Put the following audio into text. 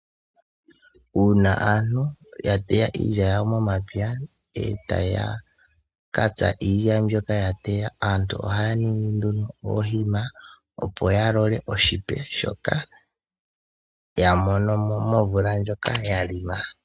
Uuna aantu ya teya iilya yawo momapya e taya ka tsa iilya mbyoka ya teya , aantu ohaya ningi nduno iikwiila opo ya lole oshipe shoka ya mono mo momvula ndjoka ya longa.